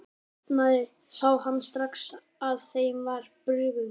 Þegar hann opnaði sá hann strax að þeim var brugðið.